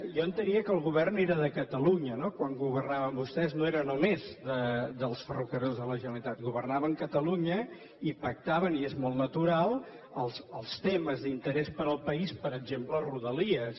jo entenia que el govern era de catalunya no quan governaven vostès no era només dels ferrocarrils de la generalitat governaven catalunya i pactaven i és molt natural els temes d’interès per al país per exemple rodalies